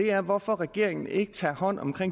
er hvorfor regeringen ikke tager hånd om